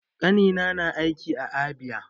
Ƙanina na aiki a Abia.